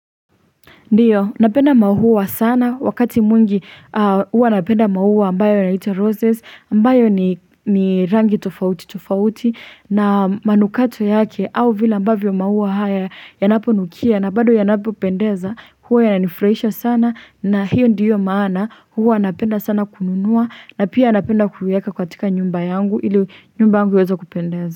Ndiyo, napenda maua sana, wakati mwingi huwa napenda maua ambayo yaitwa roses, ambayo ni ni rangi tofauti tofauti na manukato yake au vile ambavyo maua haya yanaponukia na bado yanapopendeza huwa yananifurahisha sana na hiyo ndiyo maana huwa napenda sana kununua na pia napenda kuieka katika nyumba yangu ili nyumba yangu iweze kupendeza.